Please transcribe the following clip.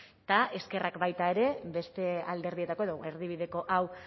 eta eskerrak baita ere beste alderdietako edo erdibideko hau